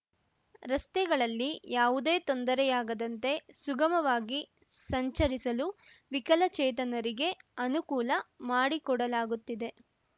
ರಸ್ತೆಗಳಲ್ಲಿ ಯಾವುದೇ ತೊಂದರೆಯಾಗದಂತೆ ಸುಗಮವಾಗಿ ಸಂಚರಿಸಲು ವಿಕಲಚೇತನರಿಗೆ ಅನುಕೂಲ ಮಾಡಿಕೊಡಲಾಗುತ್ತಿದೆ